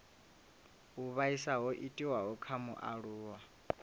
u vhaisa ho itiwaho kha mualuwa